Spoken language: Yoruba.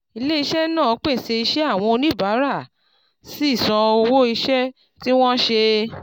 ilè iṣẹ́ nàá pèsè iṣẹ́ àwọn oníbàárà sì san owó iṣẹ́ tí wọ́n ṣe